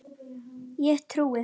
Ég trúi.